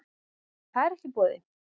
En það er ekki í boði